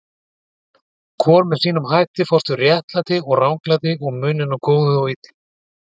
Hvor með sínum hætti fást við réttlæti og ranglæti og muninn á góðu og illu.